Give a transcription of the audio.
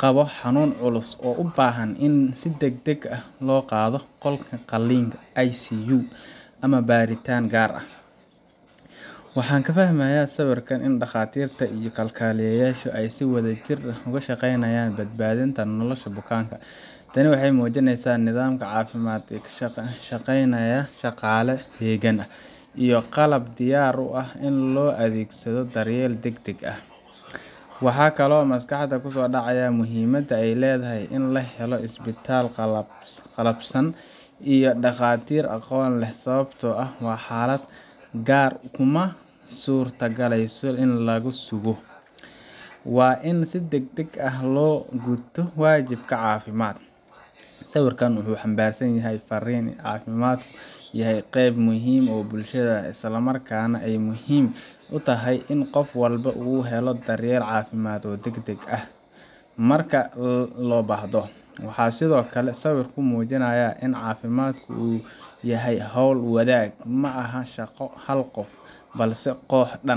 qabo xanuun culus oo u baahan in si degdeg ah loogu qaado qolka qalliin, ICU, ama baaritaan gaar ah. Waxaan ka fahmayaa sawirka in dhakhaatiirta iyo kalkaaliyayaasha ay si wadajir ah uga shaqaynayaan badbaadinta nolosha bukaanka. Tani waxay muujinaysaa nidaam caafimaad oo shaqaynaya, shaqaale heegan ah, iyo qalab diyaar u ah in loo adeegsado daryeel degdeg ah. Waxaa kaloo maskaxda ku soo dhacaya muhiimadda ay leedahay in la helo isbitaal qalabaysan iyo dhakhaatiir aqoon leh, sababtoo ah xaaladaha qaar kuma suurtagalayso in la sugo – waa in si degdeg ah loo guto waajibaadka caafimaad. Sawirkan wuxuu xambaarsan yahay farriin ah in caafimaadku yahay qayb muhiim u ah bulshada, isla markaana ay muhiim tahay in qof walba helo daryeel caafimaad oo degdeg ah marka loo baahdo. Waxaa sidoo kale sawirku muujinayaa in caafimaadka uu yahay hawl-wadaag – ma aha shaqo hal qof ah, balse koox dhan